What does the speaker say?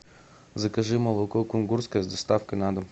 закажи молоко кунгурское с доставкой на дом